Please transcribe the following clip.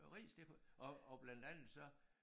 Øh ris det kunne og og blandt andet så